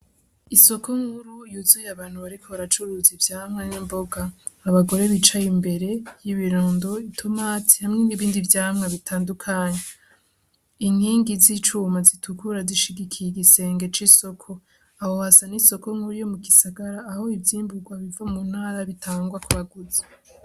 Isoko nkuru yuzuye abantu bariko baracuruza ivyamwa n'imboga. Abagore bicaye imbere y'ibirundo, itomati hamwe n'ibindi vyamwa bitandukanye. Inkingi z'icuma zitukura zishigikiye igisenge c'isoko. Aho hasa n'isoko nkuru yo mu gisagra aho ivyimburwa biva mu ntara bitangwa ku baguzi.